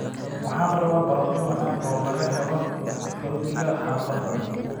Waxaan rabaa baradho macaan oo laga helo rootiga xaafadda